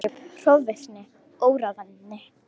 Uppgrip, hroðvirkni, óráðvendni.